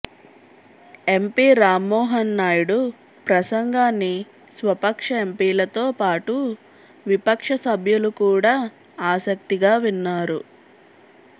MP Rammohan Naidu ప్రసంగాన్ని స్వపక్ష ఎంపీలతో పాటు విపక్ష సభ్యులు కూడా ఆసక్తిగా విన్నారు